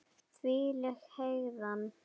Þvílík hegðan!